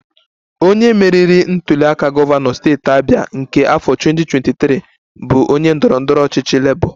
Onye meriri ntuliaka gọvanọ steeti Abia nke afọ 2023 bụ onye ndọrọ ndọrọ ọchịchị Labour